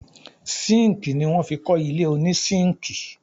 Síńkì ní wọ́n fi kọ́ ilé oní síńkì.